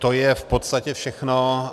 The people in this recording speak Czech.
To je v podstatě všechno.